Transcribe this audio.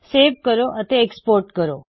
ਮੇਵ ਕਰੋ ਅਤੇ ਐਕ੍ਸਪੋਰਟ ਕਰੋ